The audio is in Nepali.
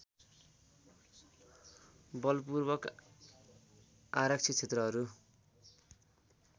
बलपूर्वक आरक्षित क्षेत्रहरू